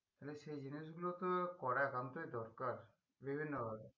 তালে সেই জিনিসগুলো তো করা একান্তই দরকার বিভিন্ন ভাবে